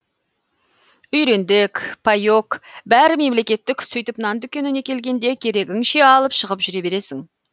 үйрендік паек бәрі мемлекеттік сөйтіп нан дүкеніне келгенде керегіңше алып шығып жүре бересің